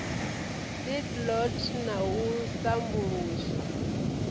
seed lot na u sambuluswa